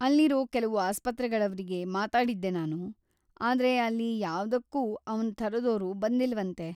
ಅಲ್ಲಿರೋ ಕೆಲ್ವು ಆಸ್ಪತ್ರೆಗಳವ್ರಿಗೆ ಮಾತಾಡಿದ್ದೆ ನಾನು, ಆದ್ರೆ ಅಲ್ಲಿ ಯಾವ್ದಕ್ಕೂ ಅವ್ನ ಥರದೋರು ಬಂದಿಲ್ವಂತೆ.